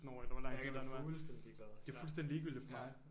Jeg kan være fuldstændig ligeglad ja